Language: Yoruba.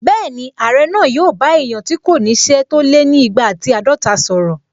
Bẹ́ẹ̀ni, Ààrẹ náà yóò bá èèyàn tí kò ní ṣẹ́ tó lé ni igba àti àádọta sọ̀rọ̀